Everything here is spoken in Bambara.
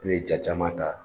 E bɛ ye ja caman ta.